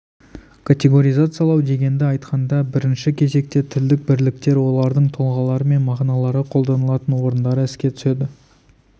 категоризациялау дегенді айтқанда бірінші кезекте тілдік бірліктер олардың тұлғалары мен мағыналары қолданылатын орындары еске түседі